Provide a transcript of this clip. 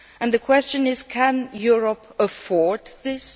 The question is can Europe afford this?